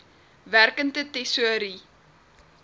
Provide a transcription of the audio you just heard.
werkende tesourie